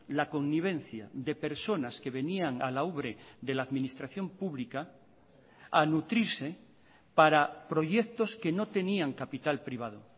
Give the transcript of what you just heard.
la convivencia de personas que venían a la ubre de la administración pública a nutrirse para proyectos que no tenían capital privado